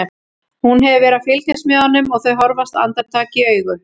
Hún hefur verið að fylgjast með honum og þau horfast andartak í augu.